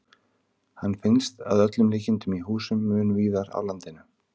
Hann finnst að öllum líkindum í húsum mun víðar á landinu.